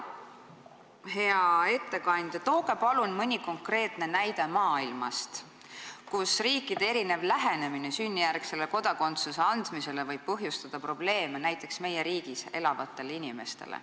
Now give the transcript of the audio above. Hea ettekandja, tooge palun mõni konkreetne näide maailmast, kus riikide erinev lähenemine sünnijärgse kodakondsuse andmisele võib põhjustada probleeme meie riigis elavatele inimestele.